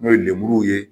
N'o ye lemuru ye